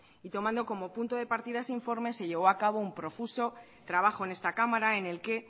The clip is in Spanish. y tomando como punto de partida ese informe se llevó a cabo un profuso trabajo en esta cámara en el que